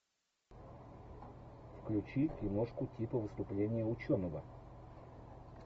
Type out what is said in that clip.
включи киношку типа выступление ученого